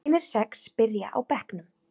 Hinir sex byrja á bekknum.